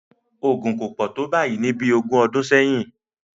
Ogun kò pò tó báyìí ní bí ogún ọdún sẹ́yìn